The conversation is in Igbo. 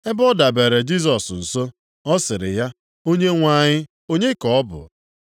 Ebe ọ dabere Jisọs nso, ọ sịrị ya, “Onyenwe anyị, onye ka ọ bụ?”